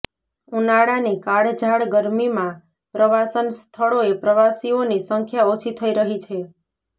ઉનાળાની કાળઝાળ ગરમીમાં પ્રવાસન સ્થળોએ પ્રવાસીઓની સંખ્યા ઓછી થઇ રહી છે